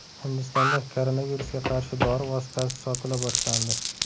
Hindistonda koronavirusga qarshi dori vositasi sotila boshlandi.